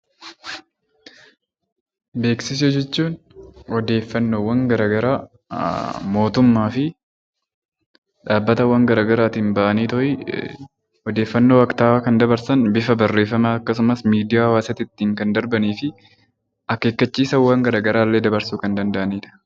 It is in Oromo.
Beeksisa jechuun odeeffannoowwan garaagaraa mootummaa fi dhaabbatawwan garaagaraan bahan odeeffannoo waktaawaa kan dabarsan bifa barreeffamaa fi miidiyaa hawaasaa irratti kan darban , akeekkachiisa garaagaraa illee dabarsuu kan danda'anidha.